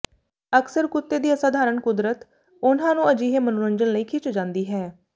ਅਕਸਰ ਕੁੱਤੇ ਦੀ ਅਸਾਧਾਰਣ ਕੁਦਰਤ ਉਨ੍ਹਾਂ ਨੂੰ ਅਜਿਹੇ ਮਨੋਰੰਜਨ ਲਈ ਖਿੱਚੀ ਜਾਂਦੀ ਹੈ